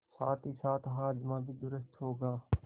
साथहीसाथ हाजमा भी दुरूस्त होगा